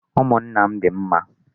Umụnna m dị mma.